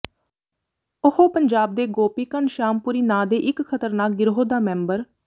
ਉਹ ਪੰਜਾਬ ਦੇ ਗੋਪੀ ਘਣਸ਼ਿਆਮਪੁਰੀ ਨਾਂਅ ਦੇ ਇੱਕ ਖ਼ਤਰਨਾਕ ਗਿਰੋਹ ਦਾ ਮੈਂਬਰ